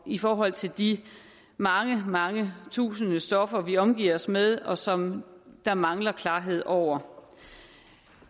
i forhold til de mange mange tusinde stoffer vi omgiver os med og som der mangler klarhed over